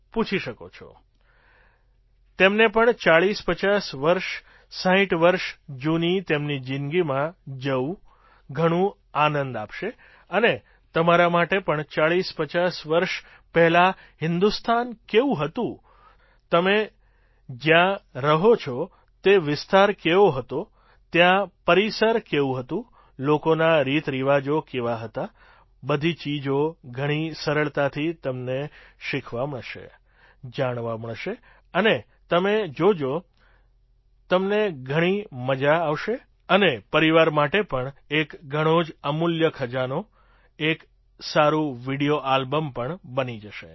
પૂછી શકો છો તેમને પણ ૪૦૫૦ વર્ષ ૬૦ વર્ષ જૂની તેમની જિંદગીમાં જવું ઘણું આનંદ આપશે અને તમારા માટે પણ ૪૦૫૦ વર્ષ પહેલાં હિન્દુસ્તાન કેવું હતું તમે જ્યાં રહો છો તે વિસ્તાર કેવો હતો ત્યાં પરિસર કેવું હતું લોકોના રીતરિવાજો કેવા હતા બધી ચીજો ઘણી સરળતાથી તમને શીખવા મળશે જાણવા મળશે અને તમે જોજો તમને ઘણી મજા આવસે અને પરિવાર માટે પણ એક ઘણા જ અમૂલ્ય ખજાનો એક સારું વિડિયો આલ્બમ પણ બની જશે